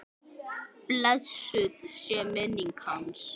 Blessuð sé minning hans!